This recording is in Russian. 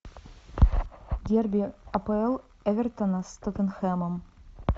дерби апл эвертона с тоттенхэмом